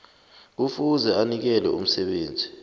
kufuze anikele umsebenzi